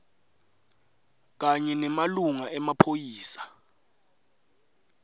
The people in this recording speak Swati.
kanye nemalunga emaphoyisa